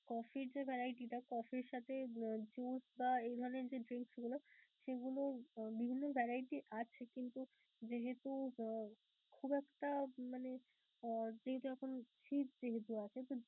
coffee র যে variety টা coffee র সাথে juice বা এই ধরণের যে drinks গুলো সেগুলো বিভিন্ন variety আছে কিন্তু যেহেতু আহ খুব একটা মানে যেহেতু এখন fridge যেহেতু আছে